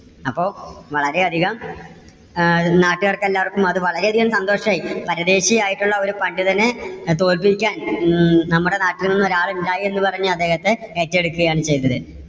അപ്പോ വളരെ അധികം അഹ് നാട്ടുകാർക്ക് എല്ലാവർക്കും അത് വളരെ അധികം സന്തോഷം ആയി. പരദേശി ആയിട്ടുള്ള ഒരു പണ്ഡിതനെ അഹ് തോൽപിക്കാൻ ഉം നമ്മുടെ നാട്ടിൽ നിന്ന് ഒരാളുണ്ടായി എന്ന് പറഞ്ഞ് അദ്ദേഹത്തെ ഏറ്റെടുക്കയാണ് ചെയ്തത്.